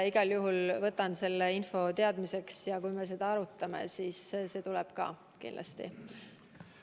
Igal juhul võtan selle info teadmiseks ja kui me seda arutame, siis see tuleb ka kindlasti.